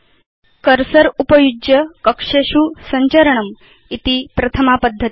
cursor उपयुज्य कक्षेषु सञ्चरणमिति प्रथमा पद्धति